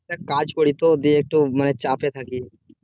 কাজ করি তো দিয়ে একটু মানে চাপে থাকি